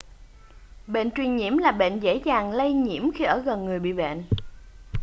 bệnh truyền nhiễm là bệnh dễ dàng lây nhiễm khi ở gần người bị bệnh